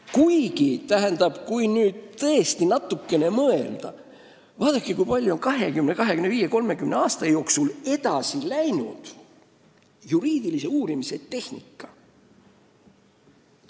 Kuigi, kui nüüd tõesti natukene mõelda, siis vaadake, kui palju on 20, 25, 30 aasta jooksul juriidilise uurimise tehnika edasi läinud.